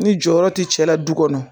Ni jɔyɔrɔ ti cɛla du kɔnɔ